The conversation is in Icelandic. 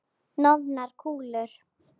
Hnoðar kúlur.